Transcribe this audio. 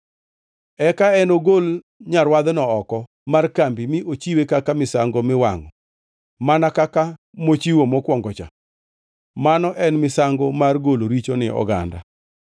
“ ‘Eka enogol nyarwadhno oko mar kambi mi ochiwe kaka misango miwangʼo mana kaka mochiwo mokwongo-cha. Mano en misango mar golo richo ni oganda.